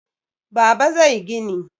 Baba zai gina.